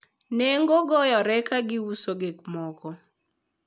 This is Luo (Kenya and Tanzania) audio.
negogoyore ka giuso gikmoko